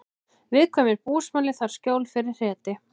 Viðkvæmur búsmali þarf skjól fyrir hreti